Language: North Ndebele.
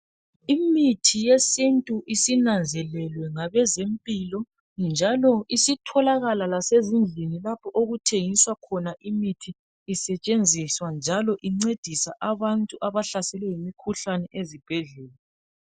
Imithi yesintu isinanzelelwe ngabezempilo njalo isitholakala lasezindlini lapho okuthengiswa khona imithi isetshenziswa njalo incedisa abantu abahlaselwe yimikhuhlani ezibhedlela.